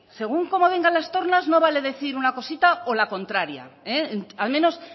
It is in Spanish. según cómo vengan las tomas no vale decir una cosita o la contraria al menos